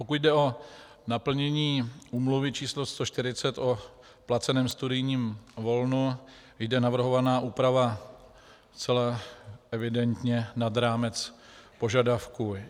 Pokud jde o naplnění úmluvy č. 140 o placeném studijním volnu, jde navrhovaná úprava zcela evidentně nad rámec požadavku.